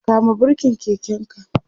kama birken keken ka!